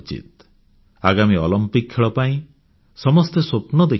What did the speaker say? ଆଗାମୀ ଅଲମ୍ପିକ୍ ଖେଳ ପାଇଁ ସମସ୍ତେ ସ୍ୱପ୍ନ ଦେଖିବା ଉଚିତ